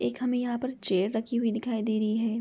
एक हमें यहाँ पर चेयर रखी हुई दिखाई दे रही है।